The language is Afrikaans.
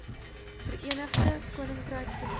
verenigde koninkryk besoek